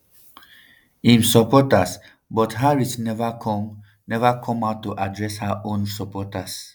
im supporters but harris neva come neva come out to address her own supporters.